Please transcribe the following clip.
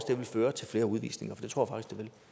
det vil føre til flere udvisninger det tror